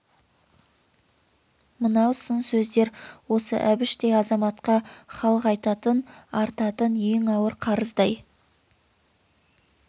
мынау сын сездер осы әбіштей азаматқа халық айтатын артатын ең ауыр қарыздай